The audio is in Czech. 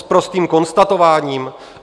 S prostým konstatováním?